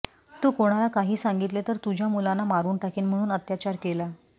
तू कोणाला काही सांगितले तर तुझ्या मुलांना मारून टाकीन म्हणून अत्याचार केला